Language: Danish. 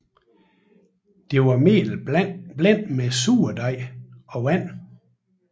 Det var mel blandet med surdej og vand